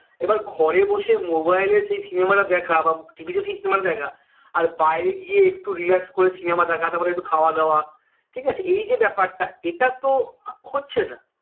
এবার ঘরে বসে mobile এ সেই cinema টা দেখা বা TV সেই cinema টা দেখা আর বাইরে গিয়ে একটু relax করে cinema দেখা তারপরে একটু খাওয়া দাওয়া ঠিক আছে এই যে ব্যাপারটা এটাতো আহ হচ্ছে না